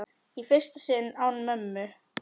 Í fyrsta sinn án mömmu.